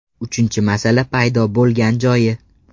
Uchinchi masala paydo bo‘lgan joyi.